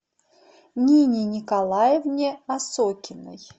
нине николаевне осокиной